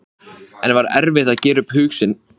Nú er það ykkar að halda áfram.